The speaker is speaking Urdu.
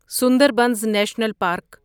Sundarbans national park